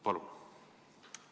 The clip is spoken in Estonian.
Palun!